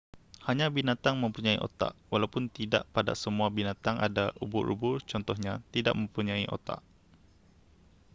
hanya binatang mempunyai otak walaupun tidak pada semua binatang ada; ubur-ubur contohnya tidak mempunyai otak